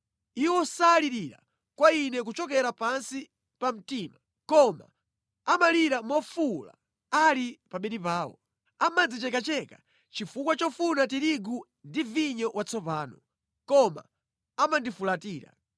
Iwo salirira kwa Ine kuchokera pansi pa mtima, koma amalira mofuwula ali pa bedi pawo. Amadzichekacheka chifukwa chofuna tirigu ndi vinyo watsopano, koma amandifulatira.